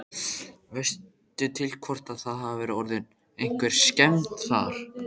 Veistu til hvort að það hafi orðið einhverjar skemmdir þar?